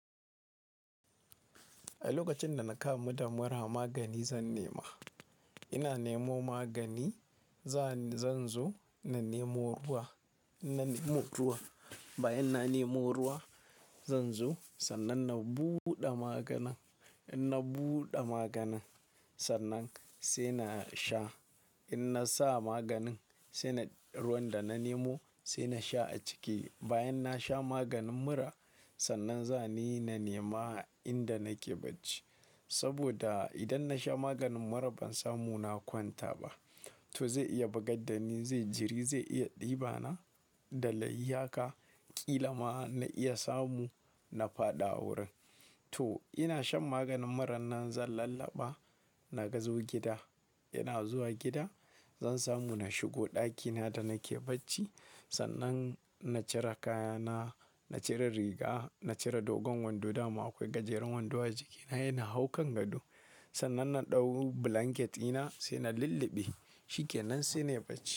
A lokacin da na kamu da mura magani zan nema. Ina nemo magani, zan zo na nemo ruwa. In na nemo ruwa, bayan na nemo ruwa zan zo sannan na buɗe maganin. In na buɗe maganin, sannan sai na sha. In na sa maganin, sai na ruwan da na nemo sai na sha a ciki. Bayan na sha maganin mura, sannan za ni na nema inda nake bacci. Saboda idan na sha maganin mura ban samu na kwanta ba. To zai iya bugar da ni, zai jiri, zai iya ɗiba na da layi ka ƙila ma na iya samu na faɗa wurin. To ina shan maganin muran nan zan lallaɓa na gazo gida. Ina zuwa gida zan samu na shigo ɗakina da nake bacci. Sannan na cire kayana, na cire riga, na cire dogon wando dama akwai gajeren wando a jikina sai na hau kan gado. Sannan na ɗau blanketi na sai na lulluɓe shi kenan sai na yi bacci.